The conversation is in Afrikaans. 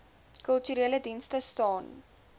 kulturele dienste staan